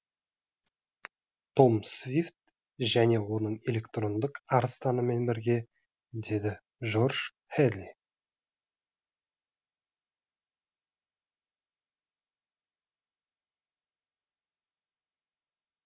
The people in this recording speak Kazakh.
том свифт және оның электрондық арыстанымен бірге деді жорж хэдли